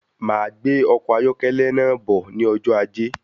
Máa gbé ọkọ ayọkẹlẹ náà bọ̀ ní ọjọ ajé